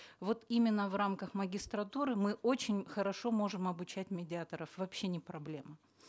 вот именно в рамках магистратуры мы очень хорошо можем обучать медиаторов вообще не проблема